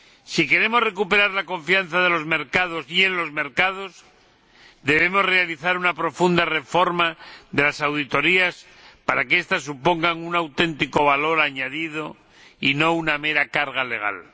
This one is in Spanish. Si queremos recuperar la confianza de los mercados y en los mercados, debemos realizar una profunda reforma de las auditorías para que estas supongan un auténtico valor añadido y no una mera carga legal.